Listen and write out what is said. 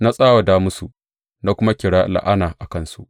Na tsawata musu na kuma kira la’ana a kansu.